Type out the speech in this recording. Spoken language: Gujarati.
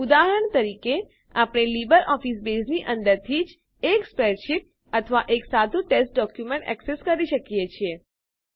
ઉદાહરણ તરીકે આપણે લીબરઓફીસ બેઝની અંદરથી જ એક સ્પ્રેડશીટ અથવા એક સાદું ટેક્સ્ટ ડોક્યુમેન્ટ એક્સેસ કરી શકીએ છીએ